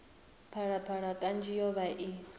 phalaphala kanzhi yo vha i